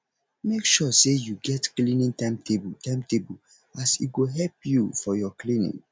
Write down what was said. mek sure say yu get cleaning timetable timetable as e go help yu for yur cleaning